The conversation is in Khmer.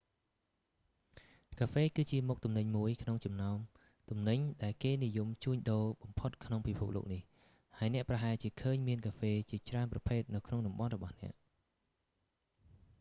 កាហ្វេ គឺជាមុខទំនិញមួយក្នុងចំណោមទំនិញ ដែលគេនិយមជួញដូរបំផុតក្នុងពិភពលោកនេះ ហើយអ្នកប្រហែលជាឃើញមានកាហ្វេជាច្រើនប្រភេទនៅក្នុងតំបន់របស់អ្នក